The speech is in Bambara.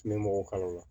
N bɛ mɔgɔ kalaw la